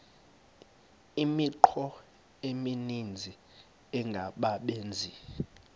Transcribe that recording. imithqtho emininzi engabaqbenzi